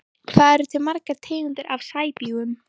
Hvað eru til margar tegundir af sæbjúgum?